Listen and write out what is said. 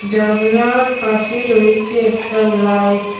জানলার পাশে রয়েছে একটা লাইট ।